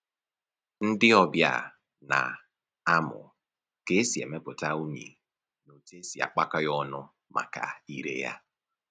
Ndị ọbịa na-amụ ka e si emepụta unyi na otu e si akpakọ ya ọnụ maka ire ya